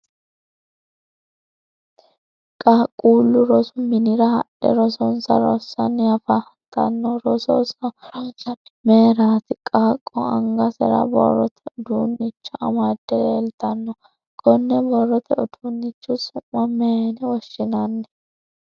Qaaqqullu rosu minnira hadhe rosonsa rasanni afantanonna roso ransanni mayiraati? Qaaqo angasera borrote uduumicho amade leeltannona kanne borrote uduunichi su'ma mayinne woshinnanni?